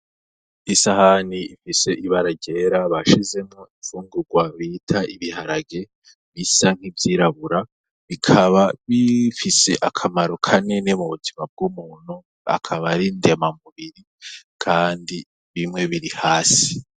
Isahani ifise ibara ryera bashizemwo imfungurwa bita ibiharage, bisa n'ivyirabura; bikaba bifise akamaro kanini mu buzima bw'umuntu, akaba ari ndemamubiri. Kandi bimwe biri hasi.